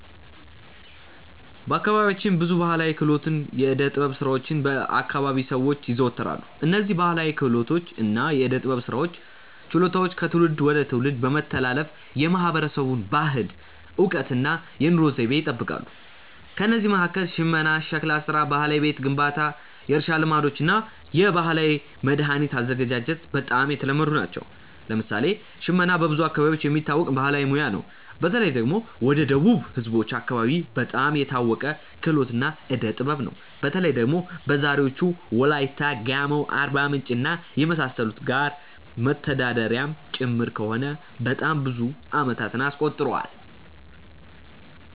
በአካባቢያችን ብዙ ባሕላዊ ክህሎቶችና የዕደ ጥበብ ሥራዎች በ አከባቢው ሰዎች ይዘወተራሉ። እነዝህ ባህላዊ ክህሎቶች እና የዕዴ ጥበብ ስራዎች ችሎታዎች ከትውልድ ወደ ትውልድ በመተላለፍ የማህበረሰቡን ባህል፣ እውቀት እና የኑሮ ዘይቤ ይጠብቃሉ። ከእነዚህ መካከል ሽመና፣ ሸክላ ሥራ፣ ባህላዊ የቤት ግንባታ፣ የእርሻ ልማዶች እና የባህላዊ መድኃኒት አዘገጃጀት በጣም የተለመዱ ናቸው። ለምሳሌ ሽመና በብዙ አካባቢዎች የሚታወቅ ባህላዊ ሙያ ነው። በተለይ ደግሞ ወደ ደቡብ ህዝቦች አከባቢ በጣም የታወቀ ክህሎት እና ዕዴ ጥበብ ነው። በተለይ ደግሞ በዛሬዎቹ ዎላይታ፣ ጋሞ፣ አርባምንጭ እና የመሳሰሉት ጋር መተዳደሪያም ጭምር ከሆነ በጣም ብዙ አመታትን አስቆጥሯል።